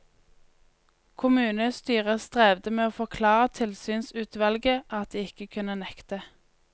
Kommunestyret strevde med å forklare tilsynsutvalget at de ikke kunne nekte.